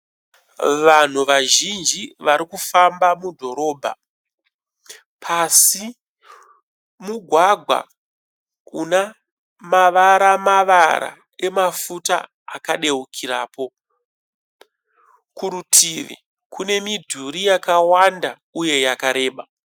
Vanhu vazhinji varikufamba mudhorobha pasi mugwagwa una mavara mavara emafuta akadeukirapo, kurutivi kune midhuri yakawanda uye yakareba.